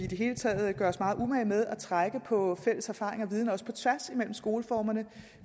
det hele taget gør os meget umage med at trække på fælles erfaringer og viden også på tværs af skoleformerne